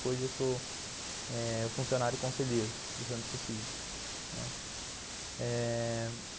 Hoje eu sou eh o funcionário conselheiro do Centro Cívico, né. Eh...